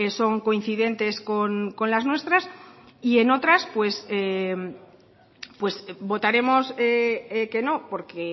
son coincidentes con las nuestras y en otras pues votaremos que no porque